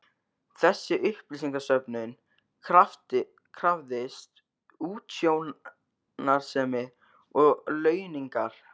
Þessi upplýsingasöfnun krafðist útsjónarsemi og launungar.